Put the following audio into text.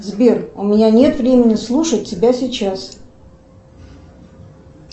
сбер у меня нет времени слушать тебя сейчас